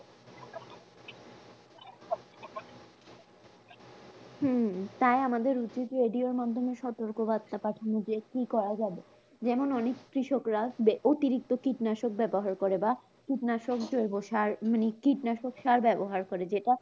আহ তাই আমাদের উচিত যে radio এর মাধ্যমে সতর্ক বার্তা পাঠানো, যে কি করা যাবে? যেমন অনেক কৃষকরা বে অতিরিক্ত কীটনাশক ব্যবহার করে বা কীটনাশক জৈবসার মানে কীটনাশক সার ব্যাবহার করে যেটা